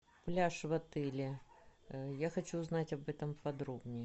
пляж в отеле я хочу узнать об этом подробнее